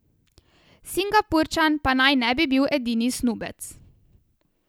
Singapurčan pa naj ne bi bil edini snubec.